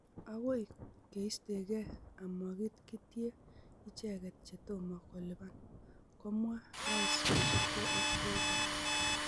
'Agoi keistegei amakitie icheget che tomo kolipan'' komwa rais kosubgei ak Bolton.